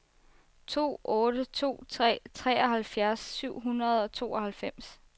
to otte to tre treoghalvfjerds syv hundrede og tooghalvfems